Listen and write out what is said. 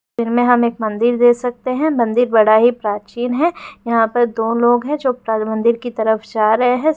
वीर में हम एक मंदिर देख सकते है मंदिर बड़ा ही प्राचीन है यहां पर दो लोग है जो मंदिर की तरफ जा रहे है।